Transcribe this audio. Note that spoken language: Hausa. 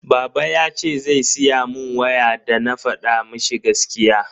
Baba yace zai siya mun waya dana fada mishi gaskiya.